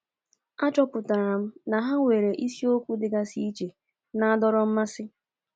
Achọpụtara m na ha nwere isiokwu dịgasị iche na-adọrọ mmasị.